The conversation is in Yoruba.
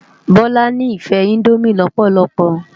Bola nífè indómi lòpòlòlòpò